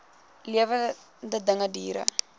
lewende dinge diere